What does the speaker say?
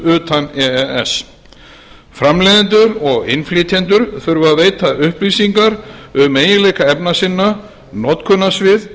utan e e s framleiðendur og innflytjendur þurfa að veita upplýsingar um eiginleika efna sinna notkunarsvið